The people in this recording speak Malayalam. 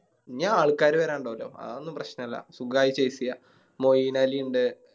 ഇനിയു ആൾക്കാര് വേരാനിണ്ടോലോ അതൊന്നും പ്രശ്നല്ല സുഖായി Chase ചെയ്യാ മെയിനലി ഇണ്ട്